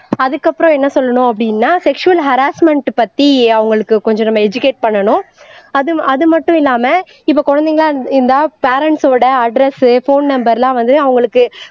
அதுக்கப்புறம் என்ன சொல்லணும் அப்படின்னா செக்சுவல் ஹராஸ்மென்ட் பத்தி அவங்களுக்கு கொஞ்சம் நம்ம எஜுகேட் பண்ணணும் அது அது மட்டும் இல்லாம இப்ப குழந்தைங்களா இருந் இருந்தா பேரண்ட்ஸோட அட்ரஸ் போன் நம்பர் எல்லாம் வந்து அவங்களுக்கு